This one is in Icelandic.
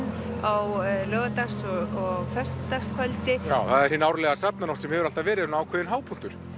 á laugardags og föstudagskvöldi já það er hin árlega sem hefur alltaf verið svona ákveðinn hápunktur